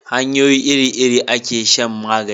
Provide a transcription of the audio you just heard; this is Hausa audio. hanyoyi iri iri a ke shan magani